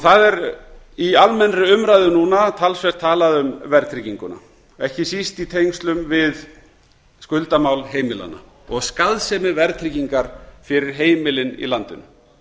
það er í almennri umræðu núna talsvert talað um verðtrygginguna ekki síst í tengslum við skuldamál heimilanna og skaðsemi verðtryggingar fyrir heimilin í landinu